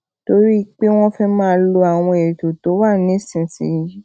torí pé wón fé máa lo àwọn ètò tó wà nísinsìnyí